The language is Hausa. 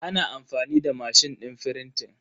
Ana amfani da mashin din frintin